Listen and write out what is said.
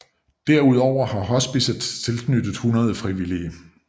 Derudover har hospicet tilknyttet 100 frivillige